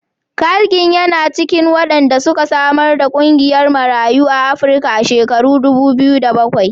Carl Ginn yana cikin wanda suka samar da ƙungiyar Marayun Afrika a shekarar dubu biyu da bakwai.